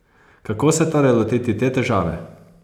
Kako se torej lotiti te težave?